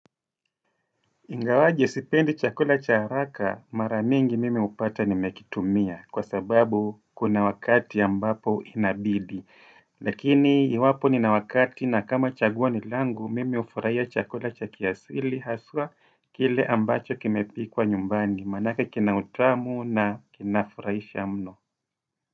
Ingawaje sipendi chakula cha haraka maramingi mimi hupata nimekitumia kwa sababu kuna wakati ambapo inabidi. Lakini iwapo nina wakati na kama chagua ni langu mimi hufurahia chakula cha kiasili haswa kile ambacho kimepikwa nyumbani maanake kina utamu na kinafurahisha mno.